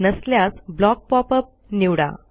नसल्यास block pop up निवडा